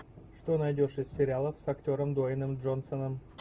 что найдешь из сериалов с актером дуэйном джонсоном